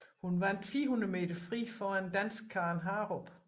Hun vandt 400 meter fri foran danske Karen Harup